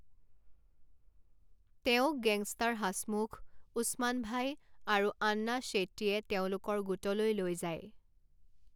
তেওঁক গেংষ্টাৰ হাছমুখ, উছমান ভাই, আৰু আন্না শ্বেট্টীয়ে তেওঁলোকৰ গোটলৈ লৈ যায়।